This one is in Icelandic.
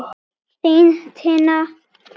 Þín, Tinna Rut.